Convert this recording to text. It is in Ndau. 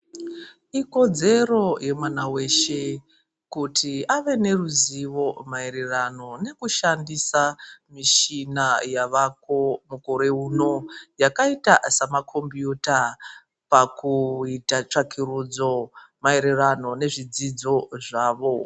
Ikodzero yemwana weshe kuti ave neruzivo maererano nekushandisa michina yavako mukore uno yakaita samakombiyuta pakuita tsvakurudzo maererano nezvedzidzo zvavo.